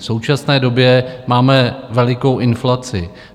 V současné době máme velikou inflaci.